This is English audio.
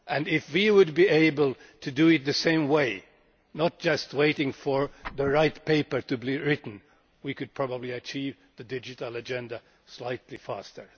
If we were able to do it the same way and not just wait for the right paper to be written, we could probably achieve the digital agenda slightly faster.